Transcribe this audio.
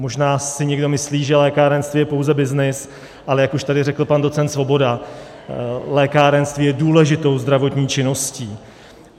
Možná si někdo myslí, že lékárenství je pouze byznys, ale jak už tady řekl pan docent Svoboda, lékárenství je důležitou zdravotní činností.